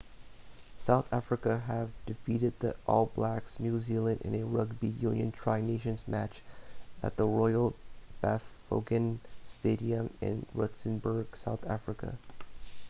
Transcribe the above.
south africa have defeated the all blacks new zealand in a rugby union tri nations match at the royal bafokeng stadium in rustenburg south africa